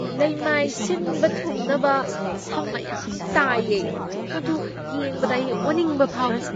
ꯂꯩꯃꯥꯏ ꯁꯤꯟꯕ ꯊꯨꯡꯅꯗ ꯁꯝ ꯃꯌꯥꯝ ꯇꯥꯏꯌꯦ꯫ ꯃꯗꯨ ꯌꯦꯡꯕꯗ ꯑꯩ ꯑꯣꯅꯤꯡꯕ ꯐꯥꯎꯏ꯫